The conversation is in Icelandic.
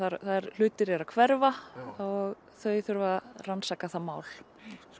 hlutir eru að hverfa og þau þurfa að rannsaka það mál